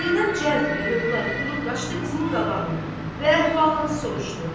Zeynəb cəld və hövlaq durub qaçdı qızının qabağını və əhvalatı soruşdu.